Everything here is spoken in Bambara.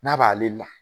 N'a b'ale la